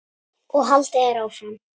og haldið er áfram.